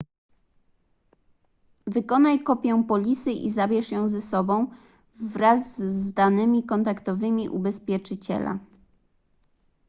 wykonaj kopię polisy i zabierz ją ze sobą wraz z danymi kontaktowymi ubezpieczyciela